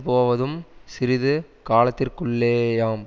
போவதும் சிறிது காலத்திற்குள்ளேயாம்